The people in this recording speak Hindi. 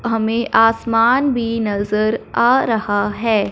हमें आसमान भी नजर आ रहा है।